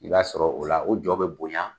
I b'a sɔrɔ o la o jɔ bɛ bonya